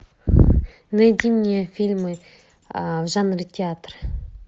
найди мне фильмы в жанре театр